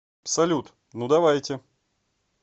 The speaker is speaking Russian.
салют ну давайте